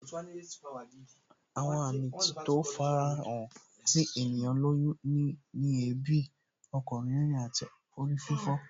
Àwọn àmì tí yóò fara hàn tí ènìyàn lóyún ni èébì, ọkàn rírìn àti orí fífọ